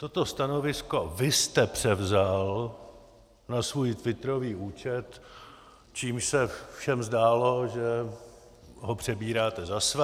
Toto stanovisko vy jste převzal na svůj twitterový účet, čímž se všem zdálo, že ho přebíráte za své.